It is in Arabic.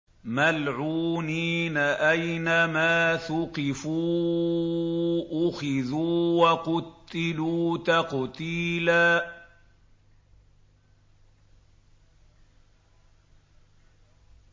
مَّلْعُونِينَ ۖ أَيْنَمَا ثُقِفُوا أُخِذُوا وَقُتِّلُوا تَقْتِيلًا